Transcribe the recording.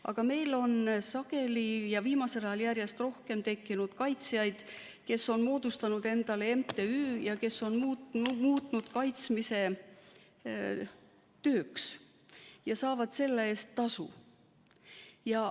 Aga meil on sageli ja viimasel ajal järjest rohkem tekkinud kaitsjaid, kes on moodustanud endale MTÜ ja kes on muutnud kaitsmise tööks ja saavad selle eest tasu.